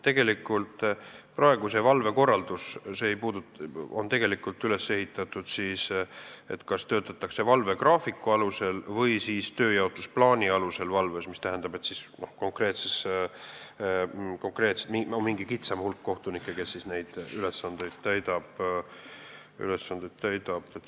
Tegelikult on praegu see valvekorraldus üles ehitatud nii, et kas töötatakse valvegraafiku alusel või tööjaotusplaani alusel, mis tähendab, et on mingi kitsam hulk kohtunikke, kes neid ülesandeid täidab.